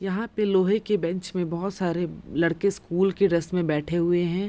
यहाँ पे लोहे की बेंच मे बहुत सारे लड़के स्कूल की ड्रेस में बैठे हुए हैं |